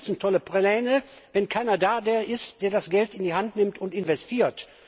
Was nützen tolle Pläne, wenn keiner da ist, der das Geld in die Hand nimmt und investiert?